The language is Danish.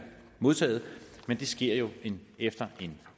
modtaget men det sker jo efter en